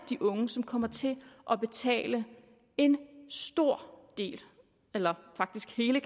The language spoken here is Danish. de unge som kommer til at betale en stor del eller faktisk hele